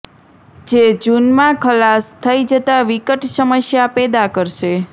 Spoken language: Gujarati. જે જુનમા ખલાસ થઈ જતા વિકટ સમસ્યા પેદા કરશે